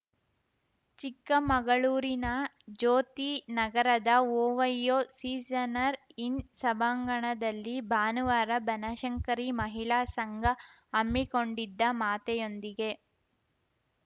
ಚಿಕ್ಕಮಗಳೂರಿನ ಜ್ಯೋತಿ ನಗರದ ಓವೈಯೋ ಸೀಸನರ್ ಇನ್‌ ಸಭಾಂಗಣದಲ್ಲಿ ಭಾನುವಾರ ಬನಶಂಕರಿ ಮಹಿಳಾ ಸಂಘ ಹಮ್ಮಿಕೊಂಡಿದ್ದ ಮಾತೆಯೊಂದಿಗೆ